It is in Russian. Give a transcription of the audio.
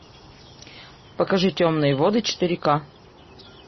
покажи темные воды четыре к